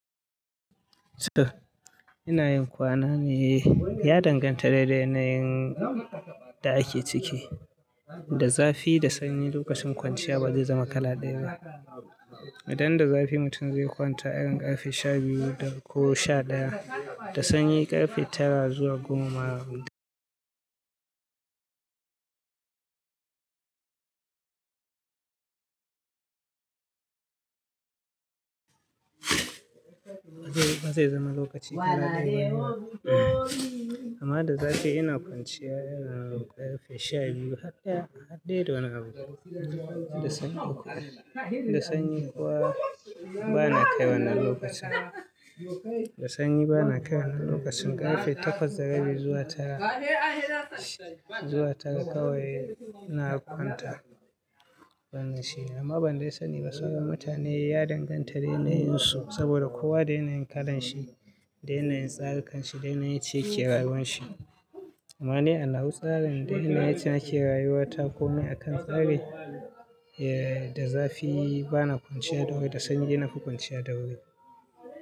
So ina yin kwana ne ya danganta daidai na yin da ake ciki. Da zafi da sanyi lokacin kwanciya ba zai zama kala ɗaya ba. Idan da zafi mutum zai kwanta irin ƙarfe sha biyu da ko sha ɗaya, da sanyi ƙarfe tara zuwa goma ma zaka kwanta. Ba zai zama lokaci ɗaya ba. Amma da zafi ina kwanciya irin ƙarfe sha biyu har ɗa har ɗaya da wani abu. Da sanyi kuma ba na kai wannan lokacin. Da sanyi bana kai wannan lokacin ƙarfe takwas da rabi zuwa tara, zuwa tara kawai ina kwanta wannan shine. Amma banda sani ba sauran mutane ya danganta da yanayin su saboda kowa da yanayin kalan shi, da yanayin tsari kanshi, da yanayin yacce yake rawuyan shi. Amma ni ana wa tsarin da yanayin yacce nake rayuwa ta komai a kan tsari eh da zafi bana kwanciya da wuri da sanyi dai nafi kwanciya da wuri.